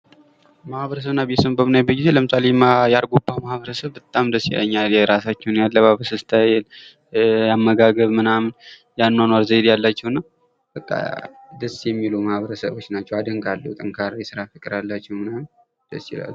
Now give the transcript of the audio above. ማህበረሰብ እና ቤተሰብን በምናይበት ጊዜ ለምሳሌ፡- የአርጎባ ማህበረሰብ በጣም ደስ ይለኛል የራሳቸውን ያለባበስ ስታይል ፣የአመጋገብ ፣የአኗኗር ዘይቤ አላቸው። በጣም ደስ ይላሉ። ጠንካራ የስራ ባህል አላቸው ፤እና አደንቃቸዋለሁ።